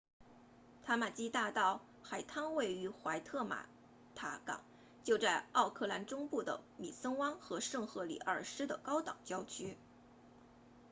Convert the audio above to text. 塔马基大道 tamaki drive 海滩位于怀特玛塔港 waitemata harbour 就在奥克兰中部的米森湾 mission bay 和圣赫里尔斯 st heliers 的高档郊区